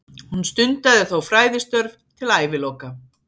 Hún stundaði þó fræðistörf til æviloka.